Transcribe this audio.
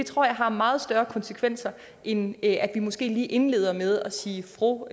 tror jeg har meget større konsekvenser end det at vi måske lige indleder med at sige fru